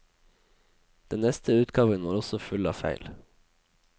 Den neste utgaven var også full av feil.